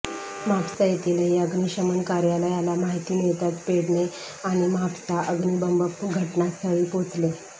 म्हापसा येथीलही अग्निशमन कार्यालयाला माहिती मिळताच पेडणे आणि म्हापसा अग्नी बंब घटनास्थळी पोचले